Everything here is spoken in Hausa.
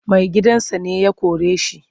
Maigidansa ne ya kore shi.